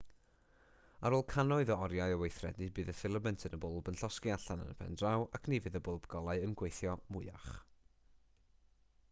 ar ôl cannoedd o oriau o weithredu bydd y ffilament yn y bwlb yn llosgi allan yn y pen draw ac ni fydd y bwlb golau yn gweithio mwyach